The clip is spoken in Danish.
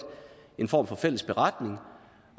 en form for fælles beretning